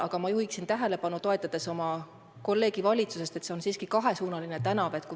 Aga ma juhin tähelepanu, toetades oma kolleegi valitsusest, et see on siiski kahesuunaline tänav.